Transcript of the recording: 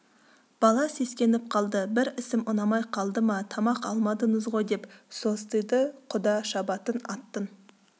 бала сескеніп қалды бір ісім ұнамай қалды ма тамақ алмадыңыз ғой деп состиды құда шабатын аттың